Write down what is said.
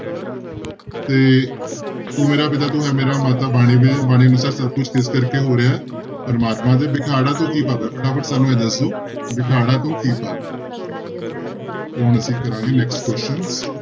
ਤੇ ਤੂੰ ਮੇਰਾ ਪਿਤਾ ਤੂੰ ਹੈ ਮੇਰਾ ਮਾਤਾ ਬਾਣੀ ਦੇ ਬਾਣੀ ਅਨੁਸਾਰ ਸਭ ਕੁਛ ਕਿਸ ਕਰਕੇ ਹੋ ਰਿਹਾ ਹੈ ਪ੍ਰਮਾਤਮਾ ਦੇ, ਬਿਖਾੜਾ ਤੋਂ ਕੀ ਭਾਵ ਹੈ ਫਟਾਫਟ ਸਾਨੂੰ ਇਹ ਦੱਸ ਦਓ ਬਿਖਾੜਾ ਤੋਂ ਕੀ ਭਾਵ ਹੈ ਤੇ ਹੁਣ ਅਸੀਂ ਕਰਾਂਗੇ next question